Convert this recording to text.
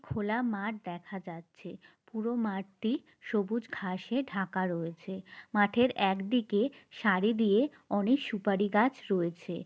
খোলা মাঠ দেখা যাচ্ছে। পুরো মাঠটি সবুজ ঘাসে ঢাকা রয়েছে । মাঠের একদিকে সারি দিয়ে অনেক সুপারি গাছ রয়েছে।